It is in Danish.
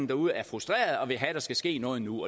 derude er frustrerede og vil have at der skal ske noget nu